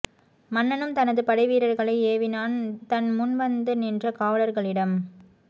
மன்னனும் தனது படைவீரர்களை ஏவினான் தன் முன் வந்து நின்ற காவலர்களிடம்